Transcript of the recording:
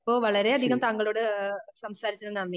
ഇപ്പോ വളരെയധികം താങ്കളോട് ആഹ് സംസാരിച്ചതിന് നന്ദി.